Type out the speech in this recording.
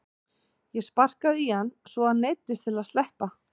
Ég sparkaði í hann svo að hann neyddist til að sleppa.